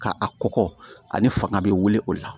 Ka a kɔgɔ ani fanga bɛ wuli o la